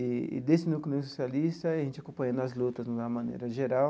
E desse Núcleo Negro Socialista, a gente acompanhando as lutas de uma maneira geral,